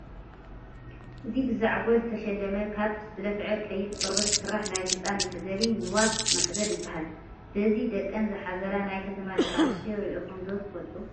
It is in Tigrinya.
እዚ ብዘዓጐል ዝተሸለመ ካብ ዝለፍዐ ቀይሕ ቆርበት ዝስራሕ ናይ ህፃን መሕዘሊ ንዋት ማሕዘል ይበሃል፡፡ በዚ ደቀን ዝሓዝላ ናይ ከተማ ደቂ ኣንስትዮ ርኢኹም ዶ ትፈልጡ?